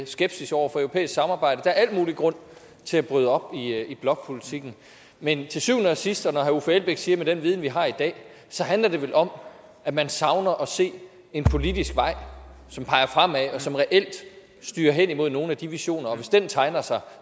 skepsis over for europæisk samarbejde der er al mulig grund til at bryde op i blokpolitikken men til syvende og sidst og som herre uffe elbæk siger med den viden vi har i dag så handler det vel om at man savner at se en politisk vej som peger fremad og som reelt styrer hen imod nogle af de visioner og hvis den tegner sig